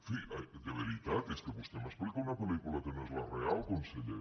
en fi de veritat és que vostè m’explica una pel·lícula que no és la real conseller